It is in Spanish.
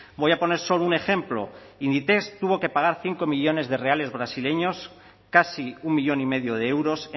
voy a poner solo un ejemplo inditex tuvo que pagar cinco millónes de reales brasileños casi un millón y medio de euros